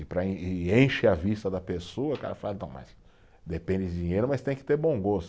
E para, e enche a vista da pessoa, o cara fala, então mas, depende de dinheiro, mas tem que ter bom gosto.